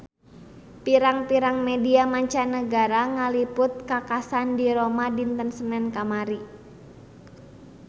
Pirang-pirang media mancanagara ngaliput kakhasan di Roma dinten Senen kamari